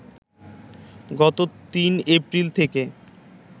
গত ৩ এপ্রিল থেকে